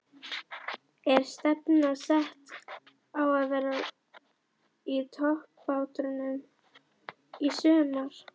Er stefnan sett á að vera í toppbaráttunni í sumar?